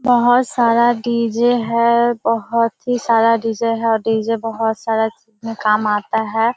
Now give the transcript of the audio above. बहोत सारा डी.जे. है बहोत ही सारा डी.जे. है और डी.जे. बहोत सारा चीज में काम आता है।